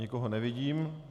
Nikoho nevidím.